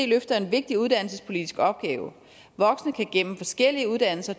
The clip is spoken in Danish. løfter en vigtig uddannelsespolitisk opgave voksne kan gennem forskellige uddannelser